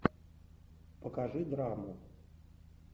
покажи драму